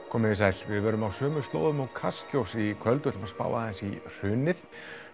komiði sæl við verðum á svipuðum slóðum og Kastljós í kvöld og ætlum að spá aðeins í hrunið